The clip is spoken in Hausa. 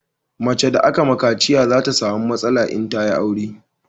Mace da aka ma kaciya za ta samu matsala in ta yi aure